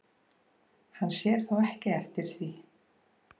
Hann sér þó ekki eftir því